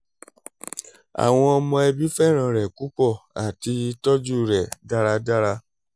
awọn ọmọ ẹbi fẹran rẹ pupọ ati tọju rẹ daradara